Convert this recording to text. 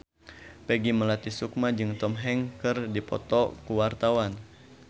Peggy Melati Sukma jeung Tom Hanks keur dipoto ku wartawan